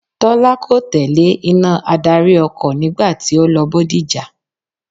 Tọ́lá kò tẹ̀lé iná adarí ọkọ̀ nígbà tí ó lọ Bódìjà.